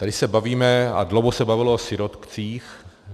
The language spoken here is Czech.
Tady se bavíme a dlouho se bavilo o sirotcích.